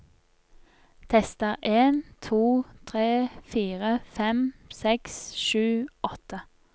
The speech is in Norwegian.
Tester en to tre fire fem seks sju åtte